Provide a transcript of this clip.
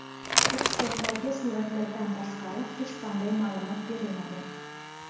Ekspertlarga suratlardan tashqari hech qanday ma’lumot berilmagan.